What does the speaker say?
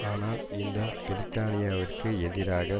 ஆனால் இந்த பிரித்தானியாவிற்கு எதிராக